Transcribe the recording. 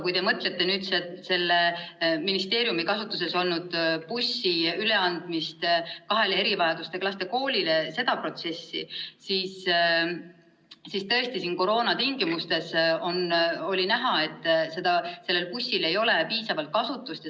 Kui te mõtlete nüüd selle ministeeriumi kasutuses olnud bussi üleandmist kahele erivajadustega laste koolile ja seda protsessi, siis tõesti, koroona tingimustes oli näha, et sellel bussil ei ole piisavalt kasutust.